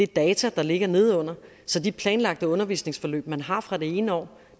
data der ligger nedenunder så de planlagte undervisningsforløb man har fra det ene år